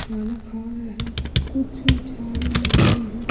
खाना खा रहे हैं कुछ झाड़ू लगा रही है।